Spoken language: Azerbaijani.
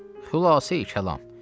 Xülasə kəlam.